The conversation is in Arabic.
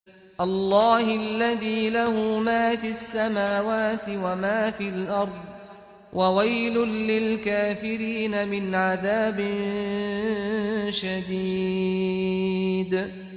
اللَّهِ الَّذِي لَهُ مَا فِي السَّمَاوَاتِ وَمَا فِي الْأَرْضِ ۗ وَوَيْلٌ لِّلْكَافِرِينَ مِنْ عَذَابٍ شَدِيدٍ